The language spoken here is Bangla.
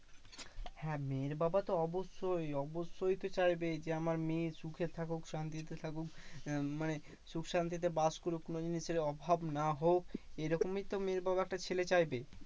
হ্যাঁ মেয়ের বাবা তো অবশ্যই অবশ্যই তো চাইবে যে, আমার মেয়ে সুখে থাকুক শান্তিতে থাকুক। আহ মানে সুখশান্তিতে বাস করুক কোনোদিনই সে অভাব না হোক, এরকমই তো মেয়ের বাবা একটা ছেলে চাইবে।